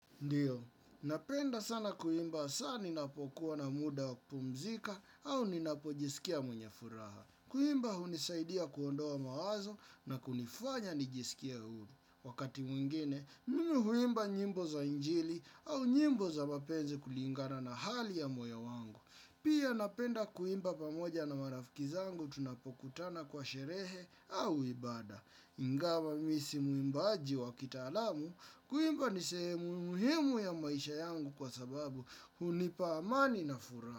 Ndiyo, napenda sana kuimba hasaa ninapokuwa na muda wa kupumzika au ninapojisikia mwenye furaha. Kuimba hunisaidia kuondoa mawazo na kunifanya nijisikie huru. Wakati mwingine, mimi huimba nyimbo za injili au nyimbo za mapenzi kulingana na hali ya moyo wangu. Pia napenda kuimba pamoja na marafiki zangu tunapokutana kwa sherehe au ibada. Ingawa mimi si muimbaji wa kitaalamu kuimba ni sehemu muhimu ya maisha yangu kwa sababu hunipa amani na furaha.